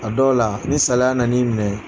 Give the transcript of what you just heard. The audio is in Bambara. A dɔw la ni salaya na n'i minɛ.